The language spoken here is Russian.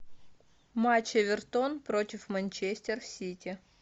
матч эвертон против манчестер сити